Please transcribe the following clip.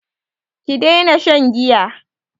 Ki daina shan giya!